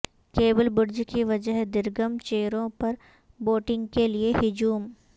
cable bridge کی وجہ درگم چیرو پر بوٹنگ کے لیے ہجوم